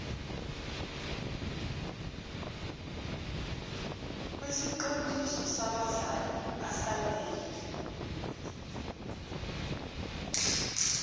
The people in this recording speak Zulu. kwesiqondiso sabazali asanele